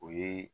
O ye